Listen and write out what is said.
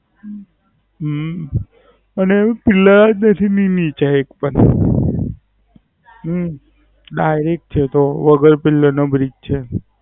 હમ અને Pillar જ બેસે ની નીચે એક પણ. હમ Direct છે તો વગર Pillar નો Bridge છે.